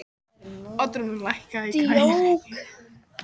Oddrún, lækkaðu í græjunum.